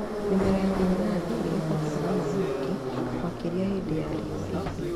Mĩmera ya mananathi nĩ ĩ bataraga maaĩ maingĩ makĩria hĩndĩ ya riũa ihiũ.